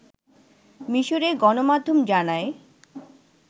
মিসরের গণমাধ্যম জানায়